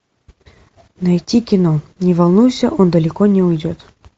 найди кино не волнуйся он далеко не уйдет